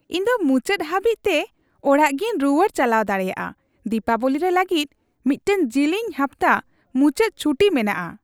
ᱤᱧ ᱫᱚ ᱢᱩᱪᱟᱹᱫ ᱦᱟᱹᱵᱤᱡᱛᱮ ᱚᱲᱟᱜᱤᱧ ᱨᱩᱣᱟᱹᱲ ᱪᱟᱞᱟᱣ ᱫᱟᱲᱮᱭᱟᱜᱼᱟ ᱾ ᱫᱤᱯᱟᱵᱚᱞᱤ ᱨᱮ ᱞᱟᱹᱜᱤᱫ ᱢᱤᱫᱴᱟᱝ ᱡᱤᱞᱤᱧ ᱦᱟᱯᱛᱟ ᱢᱩᱪᱟᱹᱫ ᱪᱷᱩᱴᱤ ᱢᱮᱱᱟᱜᱼᱟ ᱾